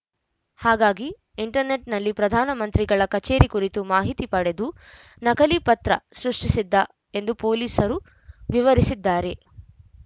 ಹಾಗಾಗಿ ಇಂಟರ್‌ನೆಟ್‌ನಲ್ಲಿ ಪ್ರಧಾನ ಮಂತ್ರಿಗಳ ಕಚೇರಿ ಕುರಿತು ಮಾಹಿತಿ ಪಡೆದು ನಕಲಿ ಪತ್ರ ಸೃಷ್ಟಿಸಿದ್ದ ಎಂದು ಪೊಲೀಸರು ವಿವರಿಸಿದ್ದಾರೆ